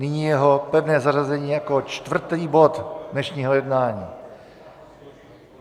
Nyní jeho pevné zařazení jako čtvrtý bod dnešního jednání.